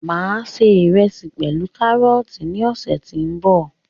Máa ṣe ìrẹsì pẹlu karọọti ní ọsẹ tó n bọ